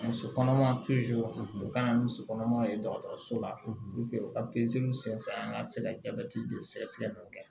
Muso kɔnɔma u kana muso kɔnɔmaw ye dɔgɔtɔrɔso la u ka senfɛ an ka se ka jabɛti joli sɛgɛsɛgɛliw kɛ